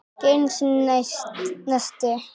Ekki einu sinni neisti.